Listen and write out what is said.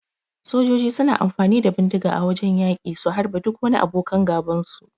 Sojoji suna amfani da bindiga a wajan yaki su harbe duk wani abokan gaban su.